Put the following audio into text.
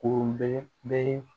Kurun bɛ